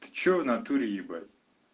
ты что в натуре ебать